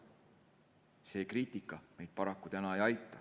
See kriitika meid paraku täna ei aita.